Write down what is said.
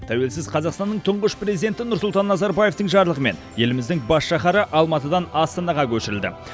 тәуелсіз қазақстанның тұңғыш президенті нұрсұлтан назарбаевтың жарлығымен еліміздің бас шаһары алматыдан астанаға көшірілді